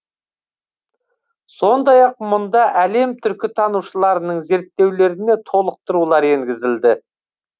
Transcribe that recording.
сондай ақ мұнда әлем түркітанушыларының зерттеулеріне толықтырулар енгізілді